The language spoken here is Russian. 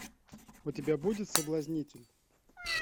у тебя будет соблазнитель